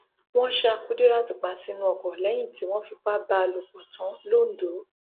wọn ṣa kùdírát pa sínú ọkọ lẹyìn tí wọn fipá bá a lò pọ tán lọńdọ